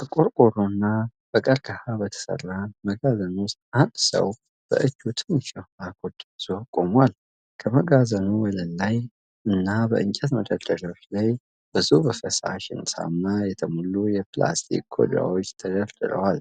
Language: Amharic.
በቆርቆሮና በቀርከሃ በተሠራ መጋዘን ውስጥ፣ አንድ ሰው በእጁ ትንሽ የውሃ ኮዳ ይዞ ቆሟል። ከመጋዘኑ ወለል ላይ እና በእንጨት መደርደሪያዎች ላይ ብዙ በፈሳሽ ሳሙና የተሞሉ የፕላስቲክ ኮዳዎች ተደርድረዋል።